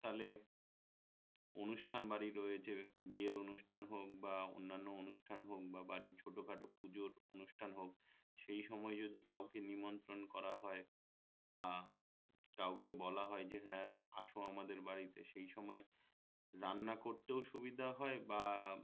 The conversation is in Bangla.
পুঁজোর অনুষ্ঠান হোক সেই সময় যদি কাউকে নিমন্ত্রণ করা হয় বা কাউকে বলা হয় যে হ্যা আসো আমাদের বাড়ীতে সেই সময় রান্না করতেও সুবিধা হয় বা